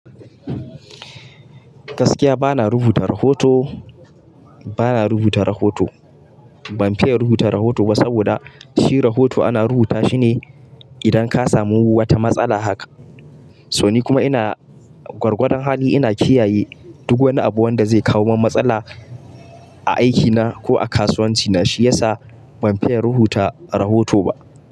Gaskiya bana rubuta rahoto, bana rubuta rahoto. Ban fiya rubuta rahoto ba saboda shi rahoto ana rubuta shi ne idan ka samu wata matsala haka. So ni kuma ina gwargwadon hali ina kiyaye duk wani abu wanda zai kawo min matsala a aikina ko a kasuwancina. Shi yasa ban fiya rubuta rahoto ba.